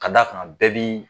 Ka d'a kan bɛɛ b'ii